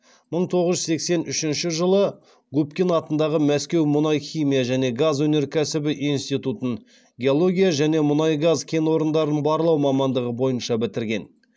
мың тоғыз жүз сексен үшінші жылы губкин атындағы мәскеу мұнай химия және газ өнеркәсібі институтын геология және мұнай газ кен орындарын барлау мамандығы бойынша бітірген